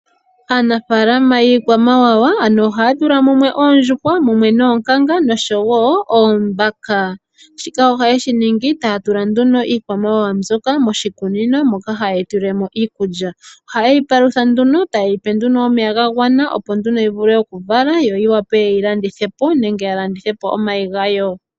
Aanafaalama yiikwamawawa ano ohaya tula mumwe oondjuhwa, mumwe noonkanga nosho wo oombaka. Shika ohaye shi ningi taya tula nduno iikwamawawa mbyoka moshikunino moka haye yi tulilemo iikulya. Ohaye yi palutha nduno , taye yi pe nduno omeya ga gwana. Opo nduno yi vule oku vala yo yi wape ye yi landithe po, nenge ya landithe po omayi gayo.